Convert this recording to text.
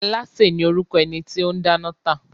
Alááṣè ni orúkọ ẹni tó o n dáná tà